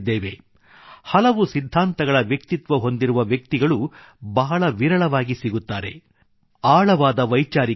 ಏಕಕಾಲದಲ್ಲಿ ಹಲವು ಸಿದ್ಧಾಂತಗಳನ್ನೊಳಗೊಂಡ ವ್ಯಕ್ತಿತ್ವ ಹೊಂದಿರುವ ವ್ಯಕ್ತಿಗಳು ಬಹಳ ವಿರಳವಾಗಿ ಸಿಗುತ್ತಾರೆ ಆಳವಾದ ವೈಚಾರಿಕತೆ